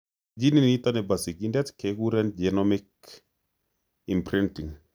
Ginit nitok nebo sigindet keguren genomic imprinting